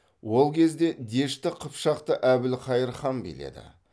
ол кезде дешті қыпшақты әбілқайыр хан биледі